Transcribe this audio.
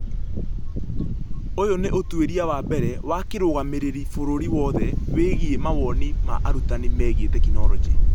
Ũyũ nĩ ũtuĩria wa mbere wa kĩrũgamĩrĩri bũrũriinĩ wothe wĩgiĩ mawoni ma arutani megiĩ tekinoronjĩ.